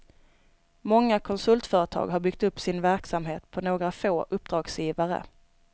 Många konsultföretag har byggt upp sin verksamhet på några få uppdragsgivare.